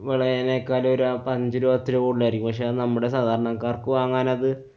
വിളയെനെക്കാളും ഒരു ആ~ അഞ്ചുരൂപ പത്തുരൂപ കൂടുതലായിരിക്കും. പക്ഷെ അത് നമ്മുടെ സാധാരണക്കാര്‍ക്ക് വങ്ങാനത്